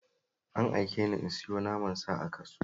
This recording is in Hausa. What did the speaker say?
An aike ni in sayo naman sa a kasuwa